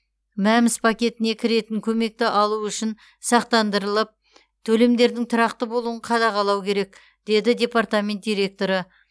мәмс пакетіне кіретін көмекті алу үшін сақтандырылып төлемдердің тұрақты болуын қадағалау керек деді департамент директоры